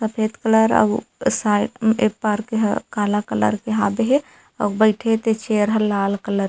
सफेद कलर अउ शायद ऐ पार्क ह काला कलर के हाबे हे अउ बइठे ते चेयर ह लाल कलर --